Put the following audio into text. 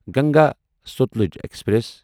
Ganga Sutlej express